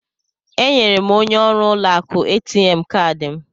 Enyere m onye ọrụ ụlọ akụ ATM kaadị m.